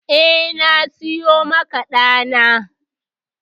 Eh, na siyo maka ɗa na.